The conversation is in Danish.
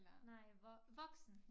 Nej voksen